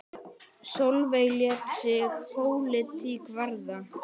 Sólveig lét sig pólitík varða.